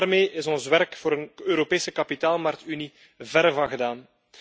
Maar daarmee is ons werk voor een Europese kapitaalmarktunie verre van gedaan.